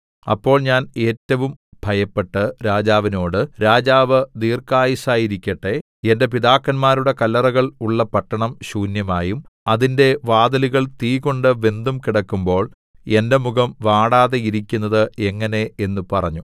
അപ്പോൾ ഞാൻ ഏറ്റവും ഭയപ്പെട്ട് രാജാവിനോട് രാജാവ് ദീർഘായുസ്സായിരിക്കട്ടെ എന്റെ പിതാക്കന്മാരുടെ കല്ലറകൾ ഉള്ള പട്ടണം ശൂന്യമായും അതിന്റെ വാതിലുകൾ തീകൊണ്ട് വെന്തും കിടക്കുമ്പോൾ എന്റെ മുഖം വാടാതെ ഇരിക്കുന്നത് എങ്ങനെ എന്ന് പറഞ്ഞു